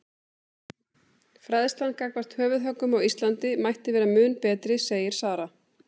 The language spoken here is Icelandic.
Fræðslan gagnvart höfuðhöggum á Íslandi mætti vera mun betri segir Sara.